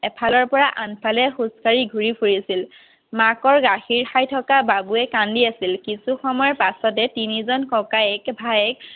এফালৰ পৰা আগফালে খোজ কাঢ়ি ঘুৰি ফুৰিছিল মাকৰ গাখীৰ খাই থকা বাবুৱে কান্দি আছিল কিছু সময়ৰ পাছতে তিনি জন ককায়েক ভায়েক